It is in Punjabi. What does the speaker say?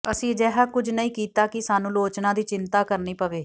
ਅਸੀਂ ਅਜਿਹਾ ਕੁਝ ਨਹੀਂ ਕੀਤਾ ਕਿ ਸਾਨੂੰ ਆਲੋਚਨਾ ਦੀ ਚਿੰਤਾ ਕਰਨੀ ਪਵੇ